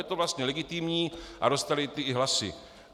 Je to vlastně legitimní a dostali i ty hlasy.